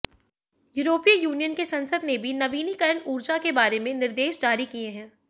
यूरोपीय यूनियन की संसद ने भी नवीनीकरण ऊर्जा के बारे में निर्देश जारी किए हैं